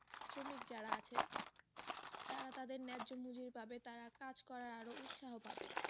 শ্রমিক যারা আছে তারা তাদের নেহ্য মজুরি পাবে তারা কাজ করার আরও উৎসাহ পাবে।